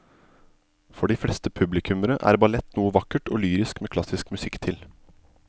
For de fleste publikummere er ballett noe vakkert og lyrisk med klassisk musikk til.